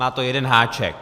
Má to jeden háček.